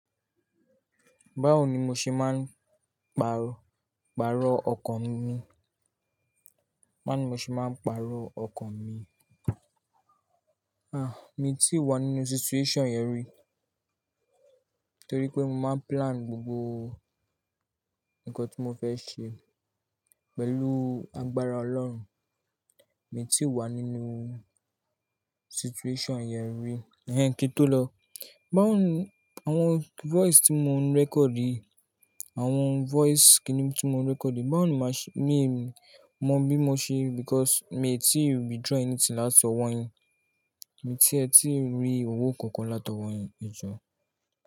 Báwo ni mo ṣe máa ń pàrọ̀, pàrọ̀ ọkàn mi? Báwo ni mo ṣe máa ń pàrọ̀ ọkàn mi? Ah, mi ò tí wá nínú situation yẹn rí, torí pé mo máa plan gbogbo nǹkan tí mo fẹ́ ṣe pẹ̀lú agbára Ọlọ́run. Mi ò tí wá nínú situation yẹn rí. Eh, kí n tó lọ, báwo ni àwọn voice tí mò ń recordi, àwọn voice kinni tí mò ń recordi? Báwo ni màá ṣe-- mi mọ bí mo ṣe because mi ò tí withdraw anything láti ọwọ́ yín, mi ò tí, ẹ tí rí owó kankan látọwọ́ yín, ẹ jọ.